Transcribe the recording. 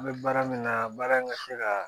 An bɛ baara min na baara in ka se ka